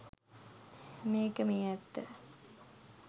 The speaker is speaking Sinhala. මේක මේ ඇත්ත